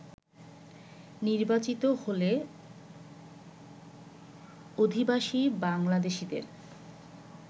নির্বাচিত হলে অভিবাসী বাংলাদেশিদের